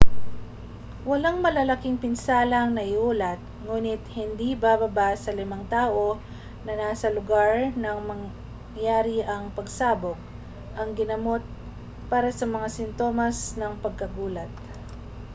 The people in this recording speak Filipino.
walang malalaking pinsala ang naiulat ngunit hindi bababa sa limang tao na nasa lugar nang mangyari ang pagsabog ang ginamot para sa mga sintomas ng pagkagulat